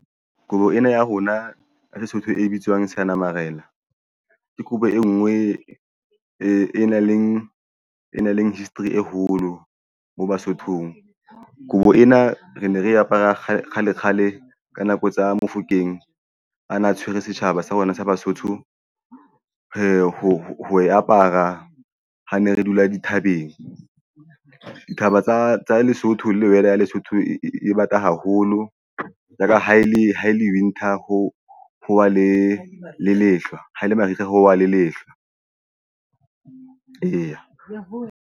Kobo ena ya rona ya Sesotho e bitswang Seyanamarena ke kobo e nngwe e nang le e nang le history e holo mo Basothong. Kobo ena re ne re apara kgale kgale kgale ka nako tsa Mofokeng a na tshwere setjhaba sa rona sa Basotho. Ho e apara ha ne re dula dithabeng. Dithaba tsa Lesotho lle weather ya Lesotho e bata haholo ka ha e le ha e le winter ho howa le le lehlwa haele mariha ho wa le lehlwa eya.